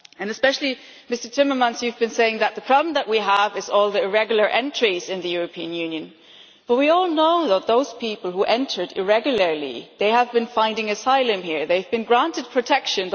Especially, Mr Timmermans, you have been saying that the problem that we have is all the irregular entries into the European Union, but we all know that those people who entered irregularly have been finding asylum here, and have been granted protection.